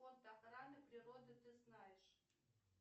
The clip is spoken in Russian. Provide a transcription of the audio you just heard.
фонд охраны природы ты знаешь